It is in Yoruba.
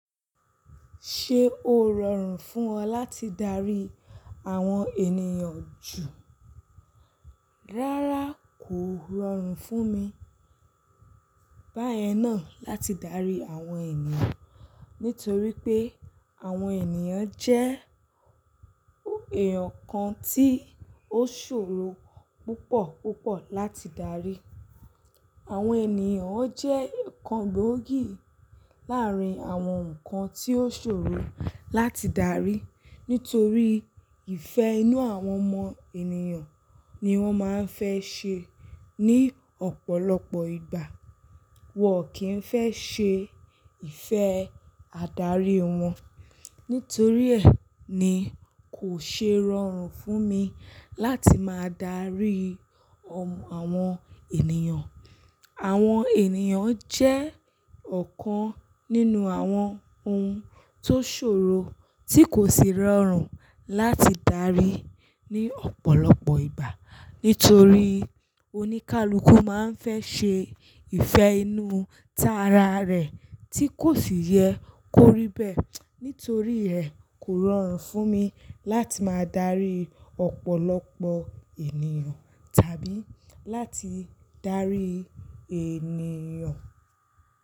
Ṣé o rọrùn fún ọ láti darí àwọn ènìyàn jù? Rárá kò rọrùn fún mi báyẹn náà láti darí àwọn ènìyàn. Nítorí pé àwọn ènìyàn jẹ́ èèyàn kan tí ó ṣòro púpọ̀ púpọ̀ láti darí. Àwọn ènìyàn wón jẹ́ kan gbòógì láàrín àwọn nǹkan tí ó ṣòro láti darí. Nítorí ìfẹ́ inú àwọn ọmọ ènìyàn ni wọ́n máa ń fẹ́ ṣe ní ọ̀pọ̀lọpọ̀ ìgbà. Wọn kì í fẹ́ ṣe ìfẹ́ adarí wọn. Nítorí ẹ́ ni kò ṣe rọrùn fún mi láti máa darí àwọn ènìyàn. Àwọn ènìyàn jẹ́ ọ̀kan nínú àwọn ohun tó ṣòro tí kò ṣe rọrùn láti darí ní ọ̀pọ̀lọpọ̀ ìgbà. Nítorí oníkálukú máa ń fẹ́ ṣe ìfẹ́ inú tara rẹ̀ tí kò sì yẹ kó rí bẹ́ẹ̀. Nítorí ẹ́ kò rọrùn fún mi láti máa darí ọ̀pọ̀lọpọ̀ ènìyàn tàbí láti darí ènìyàn.